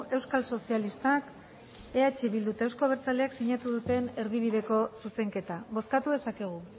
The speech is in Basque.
euskal sozialistak eh bildu eta euzko abertzaleak sinatu duten erdibideko zuzenketa bozkatu dezakegu